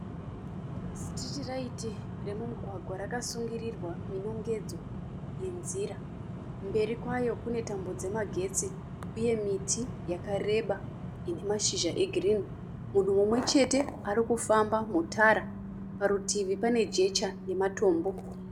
Sitiritiraiti romumugwagwa rakasungirirwa nenongedzo yenzira. Mberi kwayo kune tambo dzamagetsi uye miti yakareba ine mashizha egirini. Munhu mumwe chete ari kufamba mutara. Parutivi pane jecha namatombo.